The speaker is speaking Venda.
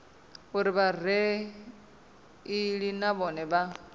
uri vhareili na vhone vha